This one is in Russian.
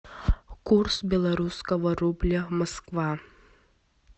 курс белорусского рубля москва